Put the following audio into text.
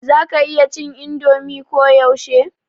za ka /ki iya cin indomi ko yaushe?